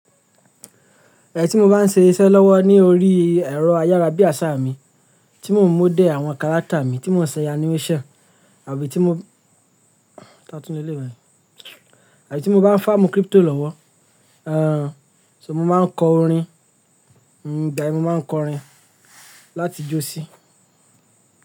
Ti mo bá ń ṣe iṣẹ́ lọ́wọ́ ní orí ẹ̀rọ ayárabíasá mi tí mò ń model àwọn character mi tí mò ń ṣe animation àbí tí mo bá ń farm crypto lọ́wọ́, so mo máa ń kọ orin, igba yen, mo máa ń kọ orin láti jó sí.